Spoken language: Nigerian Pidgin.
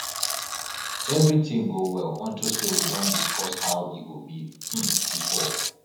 everything go well unto say we don discuss how e go be um before